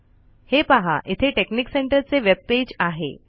हे पहा इथे टेकनिक सेंटर चे वेबपेज आहे